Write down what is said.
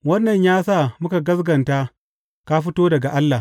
Wannan ya sa muka gaskata ka fito daga Allah.